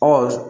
Ɔ